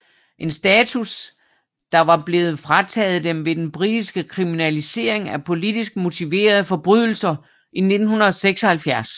En status der var blevet frataget dem ved den britiske kriminalisering af politisk motiverede forbrydelser i 1976